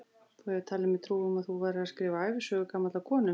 Þú hefur talið mér trú um að þú værir að skrifa ævisögu gamallar konu.